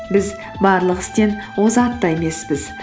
біз барлық істен озат та емеспіз